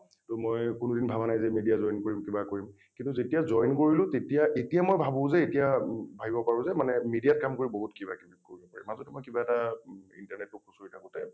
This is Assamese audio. টো মই কোনোদিন ভাবা নাই যে মই media join কৰিম কিবা কৰিম ।কিন্তু যেতিয়া join কৰিলোঁ তেতিয়া এতিয়া মই ভাবো যে এতিয়া ম ভাবিব পাৰো যে মানে media ত কাম কৰি বহুত কিবা কিবি কৰিব পাৰি। মাজতে মই কিবা এটা internet টো খুচুৰি থাকোতে ।